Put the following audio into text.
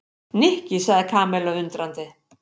Nikki sagði Kamilla undrandi.